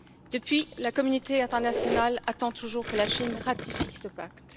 Depuis, la communauté internationale attend toujours que la Chine ratifie ce pacte.